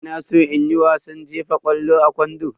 Ina san in koyi wasan jefa ƙwallo a kwando.